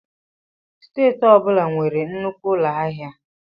Steeti ọ bụla nwere nnukwu ụlọ ahịa.